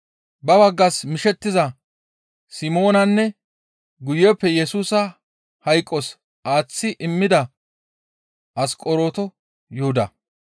ba baggas mishettiza Simoonanne guyeppe Yesusa hayqos aaththi immida Asqoronto Yuhuda.